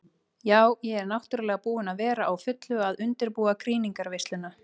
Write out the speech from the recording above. Ja, ég er náttúrulega búin að vera á fullu að undirbúa krýningarveisluna.